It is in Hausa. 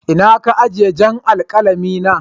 Inna ka ajie jan' alkalami na?